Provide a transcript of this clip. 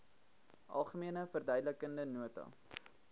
algemene verduidelikende nota